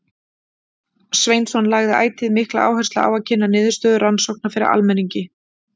Sveinsson lagði ætíð mikla áherslu á að kynna niðurstöður rannsókna fyrir almenningi.